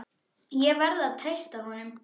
Ég verð að treysta honum.